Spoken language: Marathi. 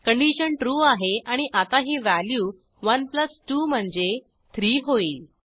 कंडिशन ट्रू आहे आणि आता ही व्हॅल्यू 1 2 म्हणजे 3 होईल